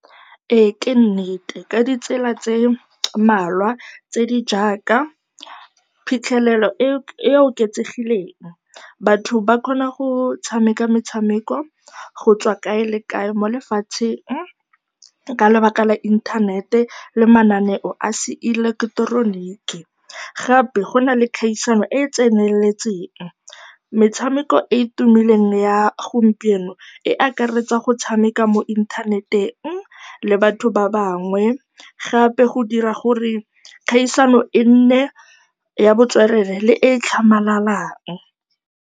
Ee ke nnete, ka ditsela tse di mmalwa tse di jaaka phitlhelelo e e oketsegileng, batho ba kgona go tshameka metshameko go tswa kae le kae mo lefatsheng ka lebaka la inthanete le mananeo a seileketeroniki. Gape go na le kgaisano e e tseneletseng. Metshameko e e tumileng ya gompieno e akaretsa go tshameka mo inthaneteng le batho ba bangwe, gape go dira gore kgaisano e nne ya botswerere le e e tlhamalalang.